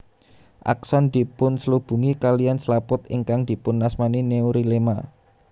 Akson dipunslubungi kaliyan slaput ingkang dipunasmani neurilema